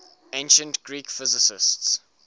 ancient greek physicists